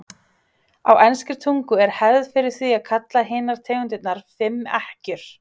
á enskri tungu er hefð fyrir því að kalla hinar tegundirnar fimm ekkjur